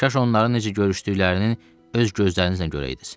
Kaş onların necə görüşdüklərinin öz gözlərinizlə görəydiz.